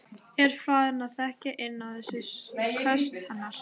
Er farin að þekkja inn á þessi köst hennar.